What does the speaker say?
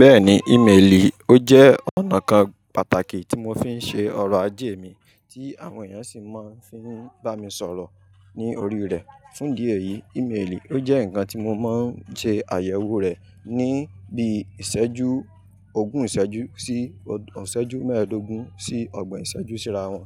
Bẹ́ẹ̀ni, íméèlì ó jẹ́ ọ̀nà kan pàtàkì tí mo fi ń ṣe ọ̀rọ̀ ajé mi, tí àwọn èèyàn sì máa ń fi bá mi sọ̀rọ̀ ní orí rẹ̀. Fún di èyí, íméèlì ó jẹ́ nǹkan tí mo máa ń ṣe àyẹ̀wò rẹ̀ ní bí i ìṣẹ́jú ògún ìṣẹ́jú sí ọ̀sán ìṣẹ́jú mẹ́ẹ̀ẹ́dógún sí ọgbọ̀n ìṣẹ́jú síra wọn.